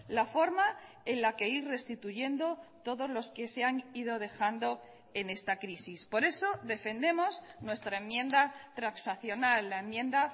la forma en la que ir restituyendo todos los que se han ido dejando en esta crisis por eso defendemos nuestra enmienda transaccional la enmienda